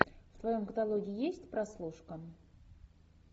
в твоем каталоге есть прослушка